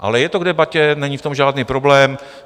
Ale je to k debatě, není v tom žádný problém.